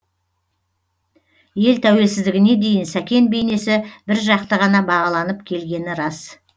ел тәуелсіздігіне дейін сәкен бейнесі біржақты ғана бағаланып келгені рас